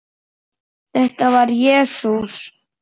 Þetta var Jesús